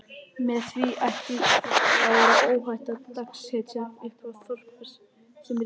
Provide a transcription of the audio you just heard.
Með því ætti að vera óhætt að dagsetja upphaf Þórbergs sem rithöfundar.